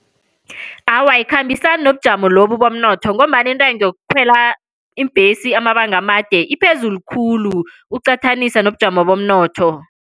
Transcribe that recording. Awa, ayikhambisani nobujamo lobu bomnotho, ngombana intengo yokukhwela iimbhesi amabanga amade iphezulu khulu uqathanisa nobujamo bomnotho.